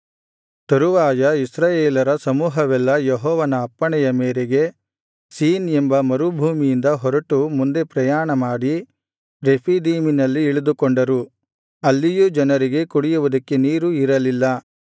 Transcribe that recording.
ತರುವಾಯ ಇಸ್ರಾಯೇಲರ ಸಮೂಹವೆಲ್ಲಾ ಯೆಹೋವನ ಅಪ್ಪಣೆಯ ಮೇರೆಗೆ ಸೀನ್ ಎಂಬ ಮರುಭೂಮಿಯಿಂದ ಹೊರಟು ಮುಂದೆ ಪ್ರಯಾಣ ಮಾಡಿ ರೆಫೀದೀಮಿನಲ್ಲಿ ಇಳಿದುಕೊಂಡರು ಅಲ್ಲಿಯೂ ಜನರಿಗೆ ಕುಡಿಯುವುದಕ್ಕೆ ನೀರು ಇರಲಿಲ್ಲ